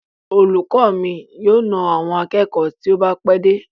Olùkọ mi yóò na àwọn akẹ́kọ̀ọ́ tí ó bá pẹ́ dé.